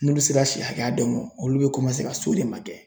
N'ulu sera si hakɛya dɔ ma olu bɛ ka so de magɛn.